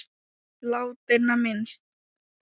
Látinna minnst.